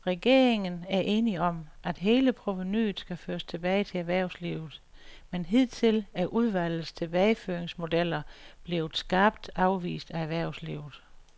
Regeringen er enig om, at hele provenuet skal føres tilbage til erhvervslivet, men hidtil er udvalgets tilbageføringsmodeller blevet skarpt afvist af erhvervslivet.